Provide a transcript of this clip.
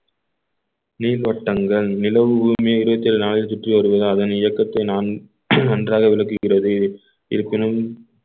நீர்வட்டங்கள் நிலவு பூமி இருபத்தி ஏழு நாளில் சுற்றி வருவதால் அதன் இயக்கத்தை நான் நன்றாக விளக்குகிறது இருப்பினும்